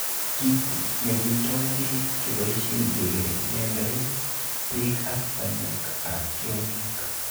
Kit nekindo beek keboishen kekenendoen beek ak banyek ab tiongik.